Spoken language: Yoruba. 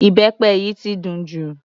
Ìbẹpẹ yìí ti dùn jù.